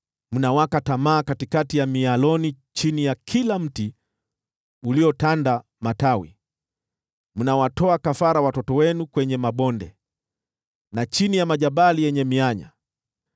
Mnawaka tamaa katikati ya mialoni na chini ya kila mti uliotanda matawi; mnawatoa kafara watoto wenu kwenye mabonde na chini ya majabali yenye mianya.